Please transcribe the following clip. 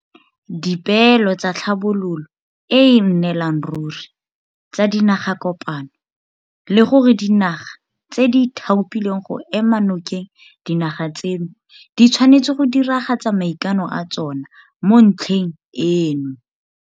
Dipeelo tsa Tlhabololo e e Nnelang Ruri tsa Dinagakopano le gore dinaga tse di ithaopileng go ema nokeng dinaga tseno di tshwanetse go diragatsa maikano a tsona mo ntlheng eno.